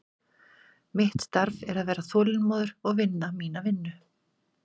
Mitt starf er að vera þolinmóður og vinna mína vinnu.